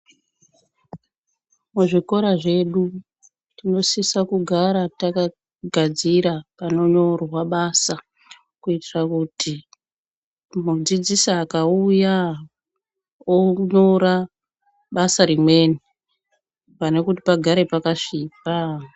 Muzvikora zvedu tinosisa kugara takagadzira panonyorwa basa. Kuitira kuti mudzidzisi akauya onyora basa rimweni, pane kuti pagare pakasvipa.